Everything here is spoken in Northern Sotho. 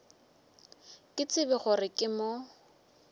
ke tsebe gore ke mo